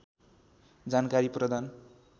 जानकारी प्रदान